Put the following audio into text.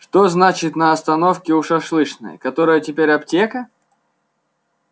что значит на остановке у шашлычной которая теперь аптека